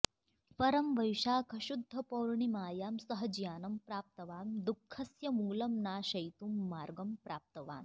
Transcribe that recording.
परं वैशाखशुद्धपौर्णिमायां सः ज्ञानं प्राप्तवान् दुःखस्य मूलं नाशयितुं मार्गं प्राप्तवान्